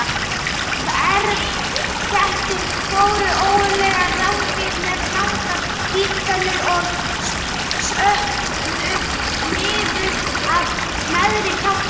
Sverðkettir voru ógurleg rándýr með langar vígtennur sem sköguðu niður af neðri kjálka.